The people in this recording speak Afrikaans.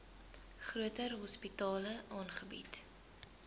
groter hospitale aangebied